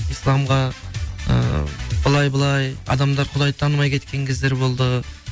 исламға ы былай былай адамдар құдайды танымай кеткен кездер болды